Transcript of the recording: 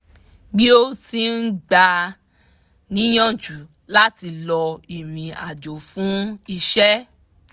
bí ó ti ń gbà á níyànjú láti lọ ìrìn àjò fun iṣẹ́